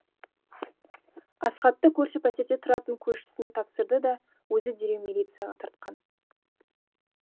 асхатты көрші пәтерде тұратын көршісіне тапсырды да өзі дереу милицияға тартқан